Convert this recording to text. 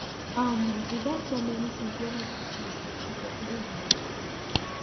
um e get so many tins wey never change for chibok even in di school